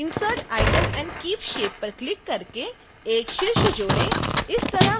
insert item and keep shape पर click करके एक शीर्ष जोड़ें